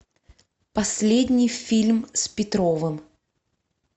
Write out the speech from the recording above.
последний фильм с петровым